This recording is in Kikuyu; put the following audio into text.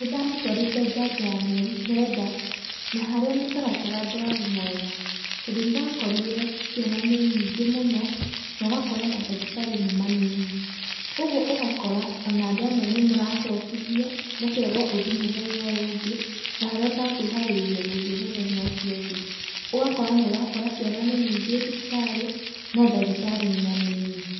Nĩ ndamũtwarĩte njanjo ya mĩeri kenda, na harĩa mũtaratara ndwarĩ mwega, tondũ nĩndakorire ciana nĩ nyingĩ mũno na ũgakora mandagĩtarĩ nĩ manini, kogwo ũgakora andũ amwe nĩmũracokithio, mũkerwo mũthie mũthenya ũyũ ũngĩ na harĩa ũtakwĩharĩrĩirie gũthiĩ mũthenya ũcio ũngĩ. Ũgakora nĩũrakora ciana nĩ nyingĩ thibitarĩ no ndagĩtarĩ nĩ anini.